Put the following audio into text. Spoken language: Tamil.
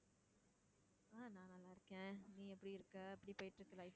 ஆஹ் நான் நல்லாருக்கேன். நீ எப்படி இருக்க? எப்படி போயிட்டிருக்கு life